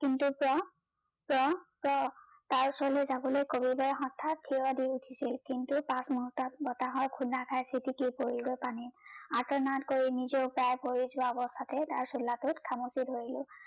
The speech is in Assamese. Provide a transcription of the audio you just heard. কিন্তু প্ৰ প্ৰ প্ৰ তাৰ ওচৰলৈ যাৱলৈ কবিটোৱে হঠাৎ ঠিয় দি উঠিছিল কিন্তু পাছ মুহুৰ্তত বতাহৰ খুন্দা খাই চিতিকি পৰিলগৈ পানীত কৰি নিজেও উতাই পৰি যোৱা অৱস্থাতে তাৰ চোলাটোত খামুচি ধৰিলো